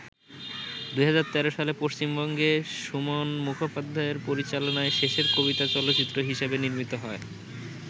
২০১৩ সালে পশ্চিমবঙ্গে সুমন মুখোপাধ্যায়ের পরিচালনায় শেষের কবিতা চলচ্চিত্র হিসেবে নির্মিত হয়।